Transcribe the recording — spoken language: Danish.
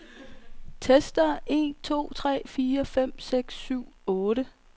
Tester en to tre fire fem seks syv otte.